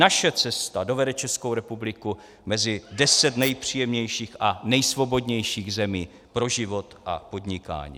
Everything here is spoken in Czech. Naše cesta dovede Českou republiku mezi deset nejpříjemnějších a nejsvobodnějších zemí pro život a podnikání.